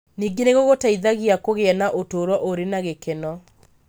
Ningĩ nĩ gũgũteithagia kũgĩa na ũtũũro ũrĩ na gĩkeno.